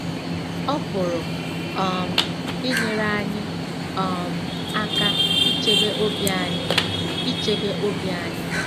Ọ pụrụ um inyere anyị um aka ichebe obi anyị. ichebe obi anyị.